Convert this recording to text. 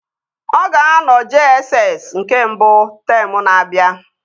Ọ ga-anọ JSS nke mbụ teemụ na-abịa